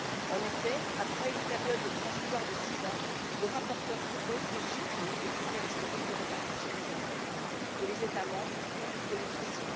En effet, après une période transitoire de six ans, le rapporteur propose de supprimer les critères historiques de répartition des enveloppes dont les États membres ont bénéficié.